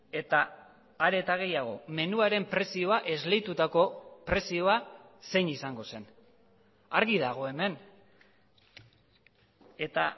eta are eta gehiago menuaren prezioa esleitutako prezioa zein izango zen argi dago hemen eta